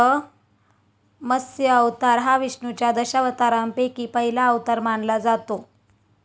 मत्स्य अवतार हा विष्णूच्या दशावतारांपैकी पहिला अवतार मानला जातो.